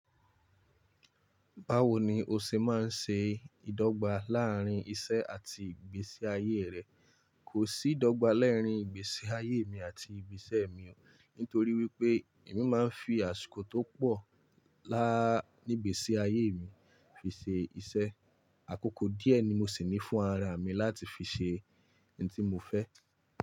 Báwo ni o ṣe máa ń ṣe ìdọ́gba láàárín iṣẹ́ àti ìgbésí ayé rẹ? Kò sí ìdọ́gba laarín ìgbésí ayé mi àti ìṣe mi o, nítorí wípé èmi máa ń fi àsìkò tó pọ̀ láa nígbèsí ayé mi fi ṣe iṣẹ́. Àkókò díẹ̀ ni mo sì ní fún ara mi láti fi ṣe ohun tí mo fẹ́.